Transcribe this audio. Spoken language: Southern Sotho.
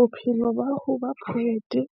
Bophelo ba ho ba poet-e